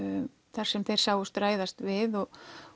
þar sem þeir sáust ræðast við og